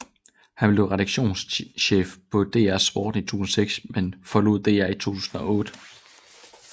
Han blev redaktionschef på DR Sporten i 2006 men forlod DR i 2008